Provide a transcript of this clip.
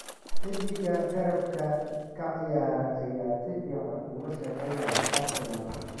Xiddiga garabka ka ciyaara ayaa si fiican ula shaqeynaya Arsenal.